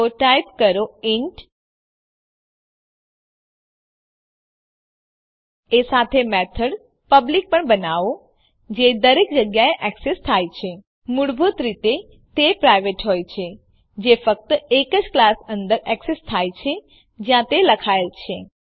તો ટાઈપ કરો ઇન્ટ એ સાથે જ મેથડ પબ્લિક પણ બનાવો જે દરેક જગ્યાએ એક્સેસ થાય છે મૂળભૂત રીતે તે પ્રાઇવેટ હોય છે જે ફક્ત એજ ક્લાસ અંદર એક્સેસ થાય છે જ્યાં તે લખાયેલ છે